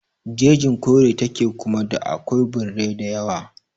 Jejin kore ta ke kuma da akwai birrai da yawa